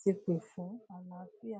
ti pè fún àlàáfíà